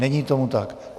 Není tomu tak.